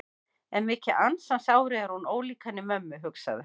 En mikið ansans ári er hún ólík henni mömmu, hugsaði hann.